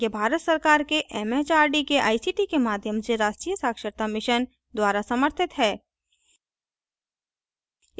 यह भारत सरकार के एमएचआरडी के आईसीटी के माध्यम से राष्ट्रीय साक्षरता mission द्वारा समर्थित है